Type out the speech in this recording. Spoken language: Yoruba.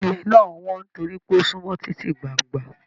Ilẹ̀ náà wọn nitori pé o sunmọ titi gbángba.